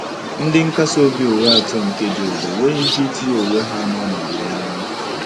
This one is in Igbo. Ndị nkasi obi ụgha atọ nke Job enweghị ike itinye onwe ha n’ọnọdụ ya.